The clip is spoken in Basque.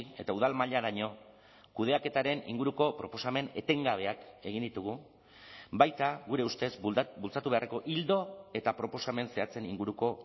eta udal mailaraino kudeaketaren inguruko proposamen etengabeak egin ditugu baita gure ustez bultzatu beharreko ildo eta proposamen zehatzen inguruko